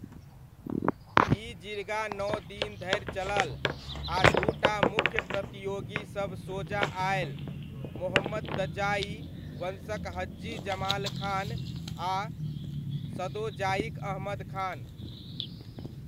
ई जिर्गा नौ दिन धरि चलल आ दू टा मुख्य प्रतियोगीसब सोजा आयल, मोहम्मदजाइ वंशक हज्जी जमाल खान आ सदोजाइक अहमद खान।